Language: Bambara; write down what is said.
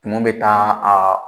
Tumu bɛ taa aa